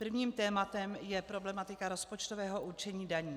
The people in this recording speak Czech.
Prvním tématem je problematika rozpočtového určení daní.